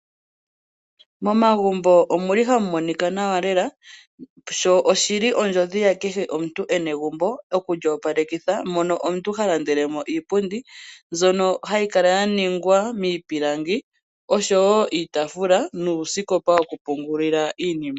Momagumbo omuli hamu monika nawa lela, sho oshili ondjodhi ya kehe omuntu ena egumbo okulyoopalekitha mono omuntu ha landele mo iipundi mbyono hayi kala ya ningwa miipilangi oshowo iitafuula nuusikopa woku pungulila iinima.